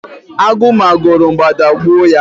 agụ ma go ro mgbada gbuo ya